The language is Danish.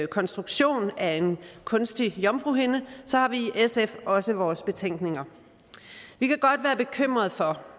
konstruktion af en kunstig jomfruhinde har vi i sf også vores betænkninger vi kan godt være bekymrede for